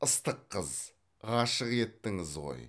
ыстық қыз ғашық еттіңіз ғой